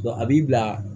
a b'i bila